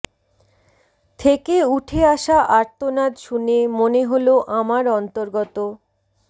থেকে উঠে আসা আর্তনাদ শুনে মনে হলো আমার অন্তর্গত